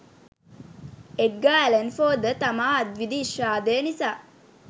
එඩ්ගා Allan Poe ද තමා අත්විඳි විශාදය නිසා